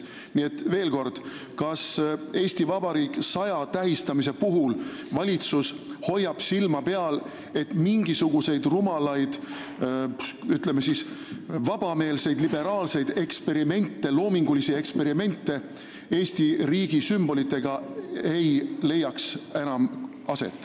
Nii et veel kord: kas "Eesti Vabariik 100" tähistamise puhul hoiab valitsus silma peal, et enam ei leiaks aset rumalaid, ütleme, vabameelseid, liberaalseid loomingulisi eksperimente Eesti riigi sümbolitega?